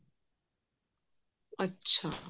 ਅੱਛਾ